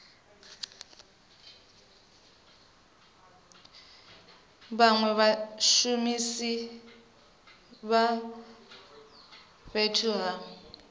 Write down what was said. vhanwe vhashumisi vha fhethu ha